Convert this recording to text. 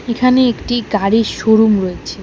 এখানে একটি গাড়ির শোরুম রয়েছে।